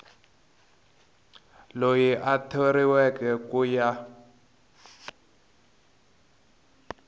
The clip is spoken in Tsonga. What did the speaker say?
loyi a thoriweke ku ya